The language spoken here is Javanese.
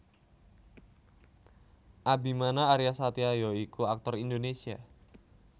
Abimana Aryasatya ya iku aktor Indonesia